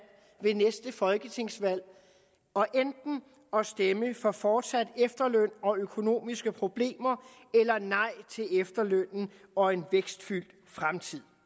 ved næste folketingsvalg og enten stemme for fortsat efterløn og økonomiske problemer eller nej til efterlønnen og en vækstfyldt fremtid